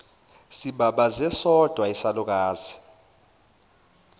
sibabaze sodwa isalukazi